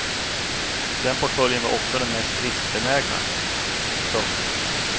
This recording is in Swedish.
Den portföljen var också den mest riskbenägna. punkt